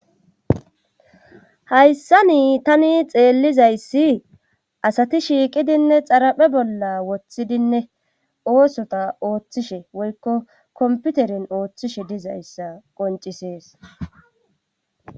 hayssa nii tani xeellizayssi asati shiiqidinne xaraphe bolla woththidinne oosota ooththishe woykko komputeren ooththishe dizayssa qoncisees